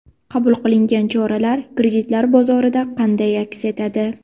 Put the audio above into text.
Qabul qilingan choralar kreditlar bozorida qanday aks etadi?